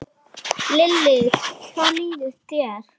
Lillý: Hvernig líður þér?